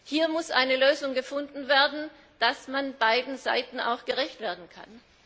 Hier muss eine Lösung gefunden werden, dass man beiden Seiten auch gerecht werden kann.